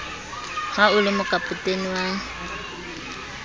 ha o le mokapotene wa